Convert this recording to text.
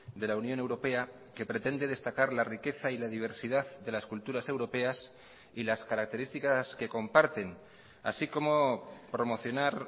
de la unión europea que pretende destacar la riqueza y la diversidad de las culturas europeas y las características que comparten así como promocionar